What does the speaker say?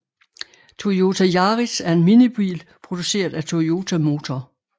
Toyota Yaris er en minibil produceret af Toyota Motor